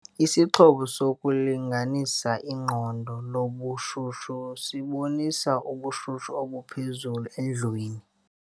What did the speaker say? Isixhobo sokulinganisa iqondo lobushushu sibonise ubushushu obuphezulu endlwini.